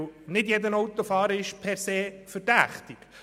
Nicht jeder Autofahrer ist per se verdächtig.